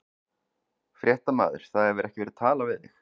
Fréttamaður: Það hefur ekki verið talað við þig?